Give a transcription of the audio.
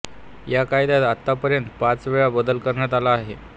या कायदयात आतापर्यंत पाच वेला बदल करन्यात अला आहे